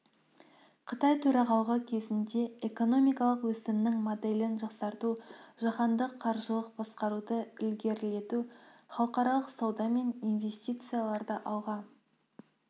қытай төрағалығы кезінде экономикалық өсімнің моделін жақсарту жаһандық қаржылық басқаруды ілгерілету халықаралық сауда мен инвестицияларды алға